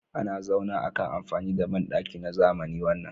Ana zauna akan amfani da bandaki na zamani wannan